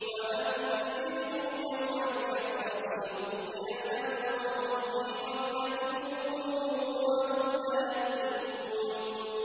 وَأَنذِرْهُمْ يَوْمَ الْحَسْرَةِ إِذْ قُضِيَ الْأَمْرُ وَهُمْ فِي غَفْلَةٍ وَهُمْ لَا يُؤْمِنُونَ